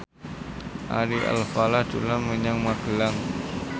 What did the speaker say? Ari Alfalah dolan menyang Magelang